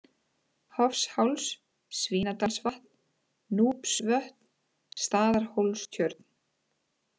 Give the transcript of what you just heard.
Hofsháls, Svínadalsvatn, Núpsvötn, Staðarhólstjörn